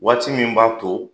Waati min b'a to